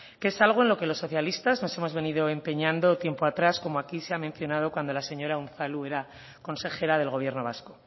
que es algo en lo que los socialistas nos hemos venido empeñando tiempo atrás como aquí se ha mencionado cuando la señora unzalu era consejera del gobierno vasco